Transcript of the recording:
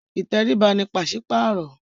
Ìtẹríba ní paṣipaarọ